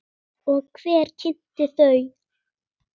Og hver kynnti þau?